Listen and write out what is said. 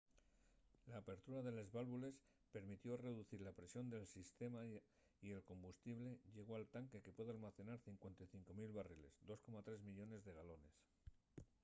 l'apertura de les válvules permitió reducir la presión del sistema y el combustible llegó al tanque que puede almacenar 55 000 barriles 2,3 millones de galones